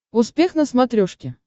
успех на смотрешке